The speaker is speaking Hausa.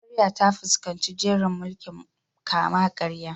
Najeriya ta fuskanci jerin mulkin kama-karya.